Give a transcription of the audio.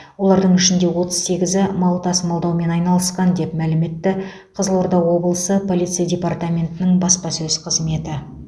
олардың ішінде отыз сегізі мал тасымалдаумен айналысқан деп мәлім етті қызылорда облысы полиция департаментінің баспасөз қызметі